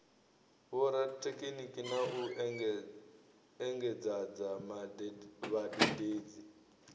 vhorathekhiniki na u engedzadza vhadededzi